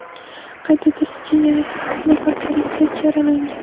Qayd etilishicha, yana to‘qqiz nafar politsiyachi yaralangan.